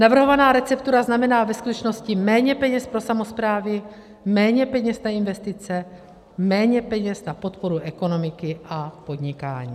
Navrhovaná receptura znamená ve skutečnosti méně peněz pro samosprávy, méně peněz na investice, méně peněz na podporu ekonomiky a podnikání.